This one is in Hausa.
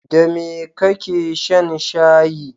Da me kake shan shayi?